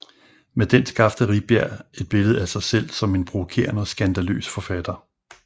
Med den skabte Rifbjerg et billede af sig som en provokerende og skandaløs forfatter